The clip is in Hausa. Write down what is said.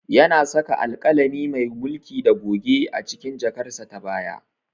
Yana sanya alkalami, mai mulki da goge a cikin jakarsa ta baya.